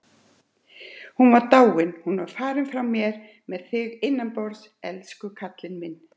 Hún var dáin. hún var farin frá mér með þig innanborðs, elsku kallinn minn.